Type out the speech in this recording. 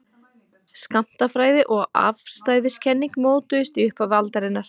skammtafræði og afstæðiskenning mótuðust í upphafi aldarinnar